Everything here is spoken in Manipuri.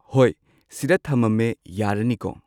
ꯍꯣꯏ ꯁꯤꯗ ꯊꯃꯝꯃꯦ ꯌꯥꯔꯅꯤꯀꯣ